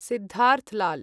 Siddharth Lal